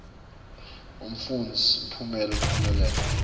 umfundzi imphumelelo lophumelele